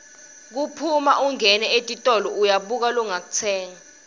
kuphuma ungena etitolo uyabuka longakutsenga